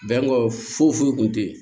Bɛnko foyi foyi kun tɛ yen